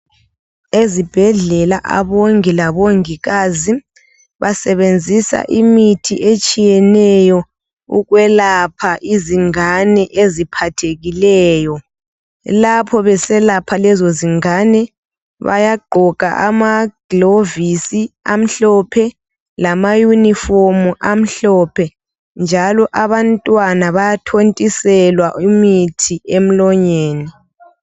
Ezibhedlela abongi labongikazi basebenzisa imithi etshiyeneyo ukwelapha izingane eziphathekileyo , lapho beselapha lezozingane bayagqoka amaglovisi amhlophe lama uniform amhlophe njalo abantwana bayathontiswa imithi emlonyeni